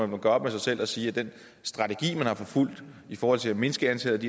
man gøre op med sig selv og sige at den strategi man har forfulgt i forhold til at mindske antallet